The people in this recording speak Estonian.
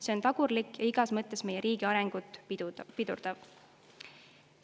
" See on tagurlik ja igas mõttes meie riigi arengut pidurdav.